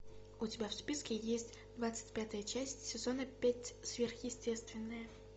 у тебя в списке есть двадцать пятая часть сезона пять сверхъестественное